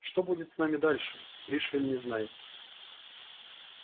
что будет с ним дальше пришвин не знает